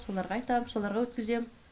соларға айтам соларға өткізем